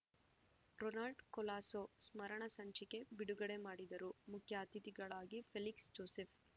Ronald Colaso ಸ್ಮರಣ ಸಂಚಿಕೆ ಬಿಡುಗಡೆ ಮಾಡಿದರು ಮುಖ್ಯ ಅತಿಥಿಗಳಾಗಿ ಫೆಲಿಕ್ಸ್‌ ಜೋಸೇಫ್‌